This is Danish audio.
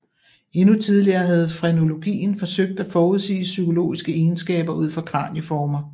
Endnu tidligere havde frenologien forsøgt at forudsige psykologiske egenskaber ud fra kranieformer